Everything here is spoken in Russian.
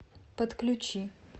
подключи